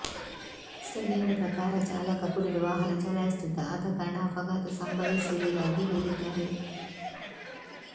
ಸ್ಥಳೀಯರ ಪ್ರಕಾರ ಚಾಲಕ ಕುಡಿದು ವಾಹನ ಚಲಾಯಿಸುತ್ತಿದ್ದ ಆದ ಕಾರಣ ಅಪಘಾತ ಸಂಭವಿಸಿರುವುದಾಗಿ ಹೇಳಿದ್ದಾರೆ